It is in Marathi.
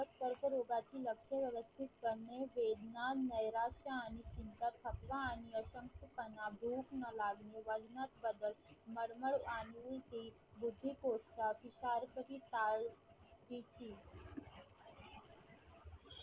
प्रगत कर्करोगाची लक्ष व्यवस्थित करणे वेढणा नैराश्य आणि चिंता थकवा आणि अशक्तपण भूक न लागणे वजनात बदल मळमळ आणि